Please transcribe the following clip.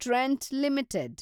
Trent limited